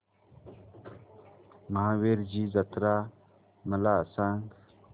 महावीरजी जत्रा मला सांग